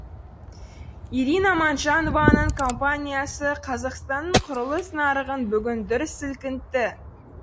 ирина манжанованың компаниясы қазақстанның құрылыс нарығын бүгін дүр сілкінтті